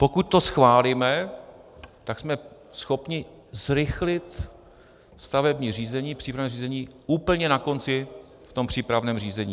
Pokud to schválíme, tak jsme schopni zrychlit stavební řízení, přípravné řízení, úplně na konci v tom přípravném řízení.